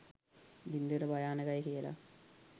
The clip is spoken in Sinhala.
ගින්දර භයානකයි කියලා